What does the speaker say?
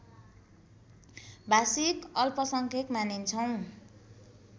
भाषिक अल्पसंख्यक मानिन्छौँ